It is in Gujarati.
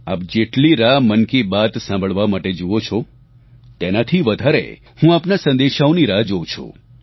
આપ જેટલી રાહ મન કી બાત સાંભળવા માટે જુઓ છો તેનાથી વધારે હું આપના સંદેશાઓની રાહ જોવું છું